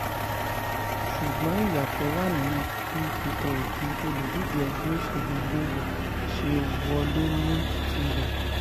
ṣùgbọ́n ìyàtọ̀ wà nínú bí peter obi olùdíje ẹgbẹ́ òṣèlú labour ṣe wọlé ní tirẹ̀